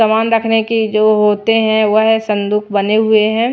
सामान रखने के जो होते हैं वह संदूक बने हुए हैं।